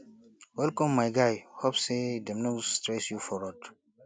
welcome my guy hope sey dem no stress you for road